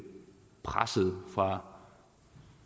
presset fra